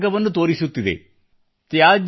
ಒಂದು ಹೊಸ ಮಾರ್ಗವನ್ನು ತೋರಿಸುತ್ತಿದೆ